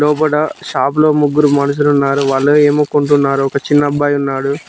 లోపల షాప్ లో ముగ్గురు మనుషులున్నారు వాళ్ళు ఏమో కొంటున్నారు ఒక చిన్న అబ్బాయి ఉన్నాడు.